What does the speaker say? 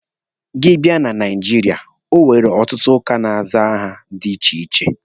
Gị bịa na Naijiria, enwere ọtụtụ ụka na-aza aha dị iche iche.